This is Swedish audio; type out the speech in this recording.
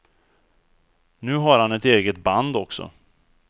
Nu har han ett eget band också.